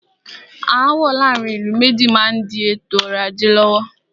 Aàwọ̀ láàárín ìlú méjì má n di ètò ọrọ̀ ajé lọ́wọ́.